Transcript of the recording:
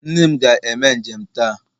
Nne m ga-eme njem taa